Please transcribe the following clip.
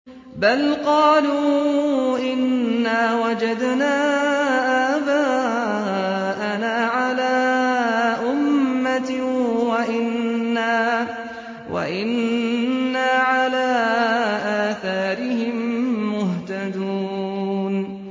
بَلْ قَالُوا إِنَّا وَجَدْنَا آبَاءَنَا عَلَىٰ أُمَّةٍ وَإِنَّا عَلَىٰ آثَارِهِم مُّهْتَدُونَ